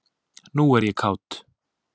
Nú er ég kát.